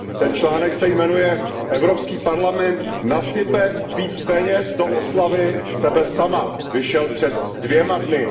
Ten článek se jmenuje Evropský parlament nasype více peněz do oslavy sebe samého a vyšel před dvěma dny.